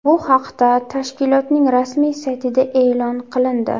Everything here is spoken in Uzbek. Bu haqda tashkilotning rasmiy saytida e’lon qilindi .